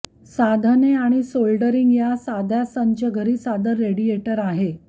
साधने आणि सोल्डरींग या साध्या संच घरी सादर रेडिएटर आहे